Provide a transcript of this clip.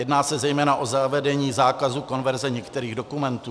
Jedná se zejména o zavedení zákazu konverze některých dokumentů.